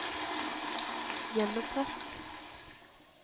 gjenopprett